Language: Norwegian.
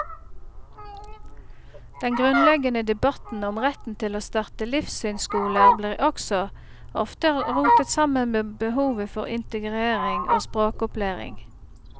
Den grunnleggende debatten om retten til å starte livssynsskoler blir også ofte rotet sammen med behovet for integrering og språkopplæring.